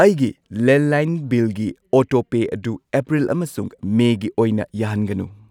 ꯑꯩꯒꯤ ꯂꯦꯟꯂꯥꯏꯟ ꯕꯤꯜꯒꯤ ꯑꯣꯇꯣꯄꯦ ꯑꯗꯨ ꯑꯦꯄ꯭ꯔꯤꯜ ꯑꯃꯁꯨꯡ ꯃꯦꯒꯤ ꯑꯣꯏꯅ ꯌꯥꯍꯟꯒꯅꯨ꯫